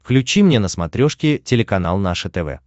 включи мне на смотрешке телеканал наше тв